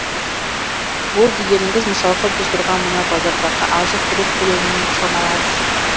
ол дегеніңіз мысалға біз тұрған мына базардағы азық түлік көлемімен шамалас